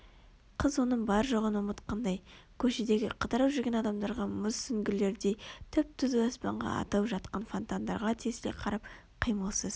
Қыз оның бар-жоғын ұмытқандай көшедегі қыдырып жүрген адамдарға мұз сүңгілердей түп-түзу аспанға атылып жатқан фонтандарға тесіле қарап қимылсыз